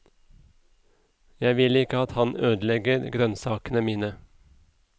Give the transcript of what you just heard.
Jeg vil ikke at han ødelegger grønnsakene mine.